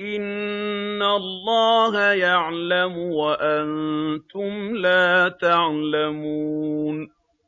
إِنَّ اللَّهَ يَعْلَمُ وَأَنتُمْ لَا تَعْلَمُونَ